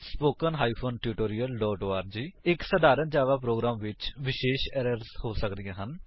http spoken tutorial org ਇੱਕ ਸਧਾਰਣ Java program ਵਿੱਚ ਵਿਸ਼ੇਸ਼ ਏਰਰਸ ਹੋ ਸਕਦੀਆਂ ਹਨ